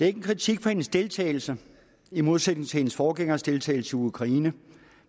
ikke en kritik af hendes deltagelse i modsætning til af hendes forgængers deltagelse i ukraine